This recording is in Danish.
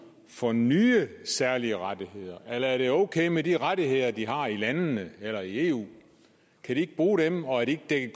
for nye særlige rettigheder eller er det okay med de rettigheder som de har i landene eller i eu kan de ikke bruge dem og er de ikke